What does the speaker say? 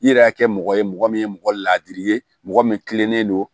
I yɛrɛ y'a kɛ mɔgɔ ye mɔgɔ min ye mɔgɔ ladiri ye mɔgɔ min kilenen don